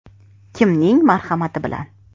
Kimning marhamati bilan?